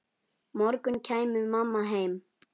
morgun kæmi mamma heim.